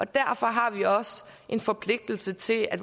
derfor har vi også en forpligtelse til at